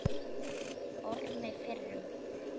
Ormi fyrrum.